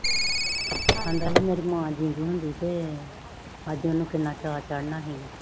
ਆਂਦਾ ਸੀ ਕੇ ਮੇਰੀ ਮਾਂ ਜ਼ਿੰਦੀ ਹੁੰਦੀ ਤੇ ਅਜੇ ਓਨੁ ਕਿੰਨਾ ਚਾ ਚੜਣਾ ਸੀਗਾ